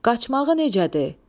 Qaçmağı necədir?